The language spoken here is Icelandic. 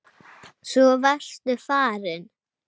Svo varstu farinn.